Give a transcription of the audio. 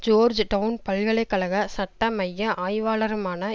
George down பல்கலை கழக சட்ட மைய ஆய்வாளருமான